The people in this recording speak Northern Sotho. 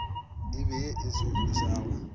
e be ye e tsošago